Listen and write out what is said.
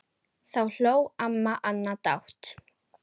Síðan eru liðin nokkur ár.